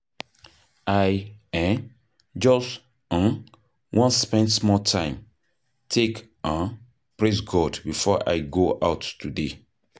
I um just um wan spend small time take um praise God before I go out today.